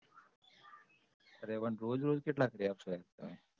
અરે પણ રોજરોજ કેટલા કરી આપશો એમ તમે